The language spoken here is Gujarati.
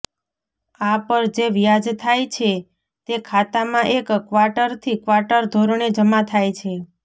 આ પર જે વ્યાજ થાય છે તે ખાતામાં એક ક્વાર્ટરથી ક્વાર્ટર ધોરણે જમા થાય છે